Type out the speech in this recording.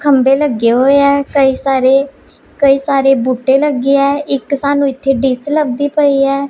ਖੰਭੇ ਲੱਗੇ ਹੋਏ ਆ ਕਈ ਸਾਰੇ ਕਈ ਸਾਰੇ ਬੂਟੇ ਲੱਗੇ ਆ ਇੱਕ ਸਾਨੂੰ ਇੱਥੇ ਡਿਸ ਲਬਦੀ ਪਈ ਐ।